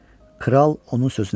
Kral onun sözünü kəsdi.